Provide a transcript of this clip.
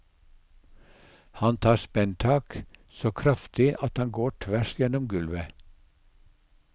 Han tar spenntak, så kraftig at han går tvers gjennom gulvet.